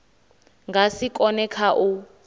nga si kone kha u